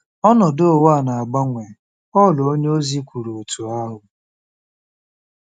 “ Ọnọdụ ụwa a na-agbanwe .” Pọl onyeozi kwuru otú ahụ.